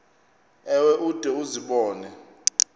ewe ude uzibone